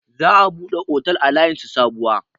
Za a buɗe otel a layin su Sabuwa.